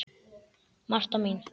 Marta mín.